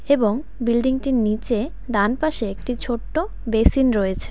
এবং বিল্ডিংটির নীচে ডানপাশে একটি ছোট্ট বেসিন রয়েছে।